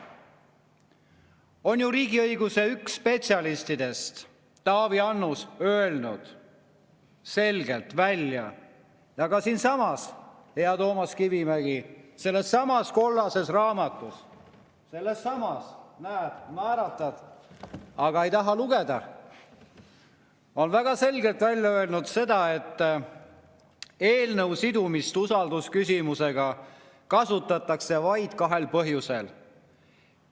On ju riigiõiguse üks spetsialistidest, Taavi Annus, öelnud selgelt välja ja ka siinsamas, hea Toomas Kivimägi, sellessamas kollases raamatus – sellessamas, näed, naeratad, aga ei taha lugeda – on väga selgelt öeldud seda, et eelnõu sidumist usaldusküsimusega kasutatakse vaid kahel põhjusel.